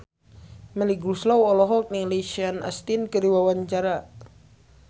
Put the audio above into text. Melly Goeslaw olohok ningali Sean Astin keur diwawancara